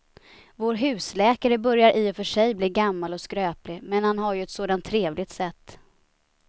Vår husläkare börjar i och för sig bli gammal och skröplig, men han har ju ett sådant trevligt sätt!